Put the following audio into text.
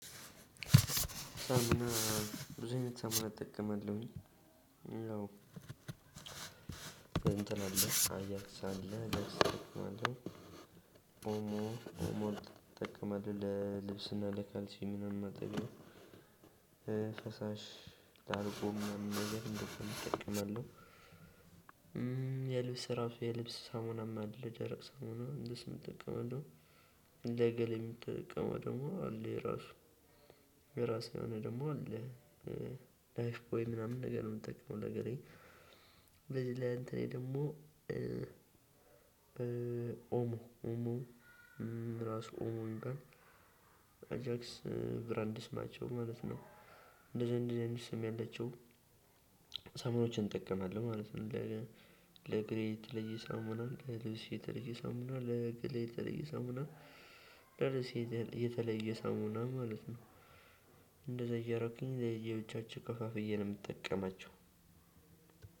ሳሙና ብዙ አይነት ሳሙና እጠቀማለሁኝ እንትን አለ አጃክስ አለ አይደል? ሞራ ትጠቀማለህ ለልብስና ለካልሲ ምናምን ማጠቢያ ፈሳሽ ላርጎም ምናምን ነገር እንደዛም እጠቀማለሁ። የልብስ ራሱ የልብስ ሳሙናም አለ ደረቅ ሰሙና እንደሱም እጠቀማለሁ። እንደው ለገላዬ የምጠቀመው ደግሞ አለ የራሱ የራሱ የሆነ ደግሞ አለ ላይፍ ቦይ ምናምን ነገር ነው የምትጠቅመው ለገላዬ። ለዚህ ለ እንትኔ ደግሞ ኦሞ ኦሞ ራሱ ኦሞ እንበል አጃክስ ብራንድ ስማቸው ማለት ነው እንደዛ እንደዛ አይነት ስም ያላችው ሰሙኖችን እንጠቀማለሁ ማለት ነው። ለገላዬ የተለየ ሳሙና ለልብሴ የተለየ ሳሙና ለገላዬ የተለየ ሳሙና ለልብሴ የተለየ ሳሙና ማለት ነው። እንደዛ እያደረኩኝ ለየብቻችው ከፋፍዬ ነው የምጠቀማቸው።